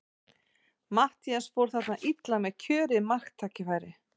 Matthías fór þarna illa með kjörið marktækifæri.